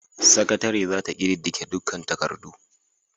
Sakatare za ta ƙididdige dukkan takardu.